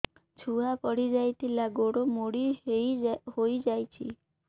ଛୁଆ ପଡିଯାଇଥିଲା ଗୋଡ ମୋଡ଼ି ହୋଇଯାଇଛି